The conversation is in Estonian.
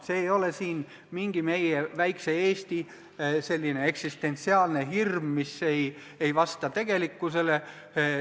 See ei ole siin mingi meie väikese Eesti eksistentsiaalne hirm, mis ei vasta tegelikkusele.